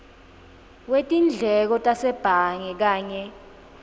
wetindleko tasebhange kanye